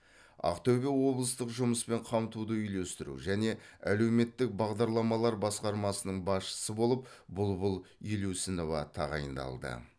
ақтөбе облыстық жұмыспен қамтуды үйлестіру және әлеуметтік бағдарламалар басқармасының басшысы болып бұлбұл елеусінова тағайындалды